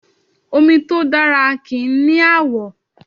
Omi tó dára kì í ni àwọ̀